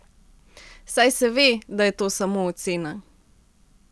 Saj se ve, da je to samo ocena.